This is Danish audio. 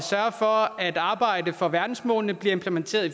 sørge for at arbejdet for verdensmålene bliver implementeret i